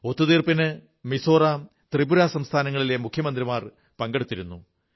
ഒത്തുതീർപ്പിന് മിസോറാം ത്രിപുര സംസ്ഥാനങ്ങളിലെ മുഖ്യമന്ത്രിമാർ പങ്കെടുത്തിരുന്നു